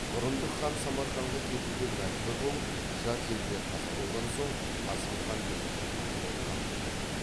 бұрындық хан самарқанға кетуге мәжбүр болып жат елде қаза болған соң қасым хан билікті өз қолына алды